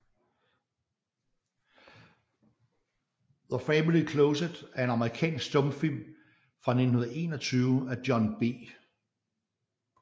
The Family Closet er en amerikansk stumfilm fra 1921 af John B